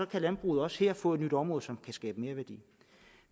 kan landbruget også her få et nyt område som kan skabe merværdi